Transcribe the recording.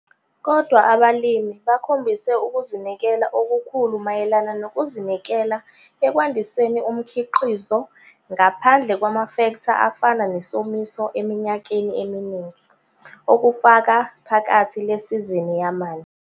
Kodwa abalimi bakhombise ukuzinikela okukhulu mayelana nokuzinikela ekwandiseni umkhiqizo ngaphandle kwamafektha afana nesomiso eminyakeni eminingi, okufaka phakathi le sizini yamanje.